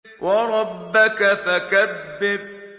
وَرَبَّكَ فَكَبِّرْ